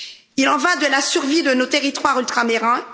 Il en va de la survie de nos territoires ultramarins.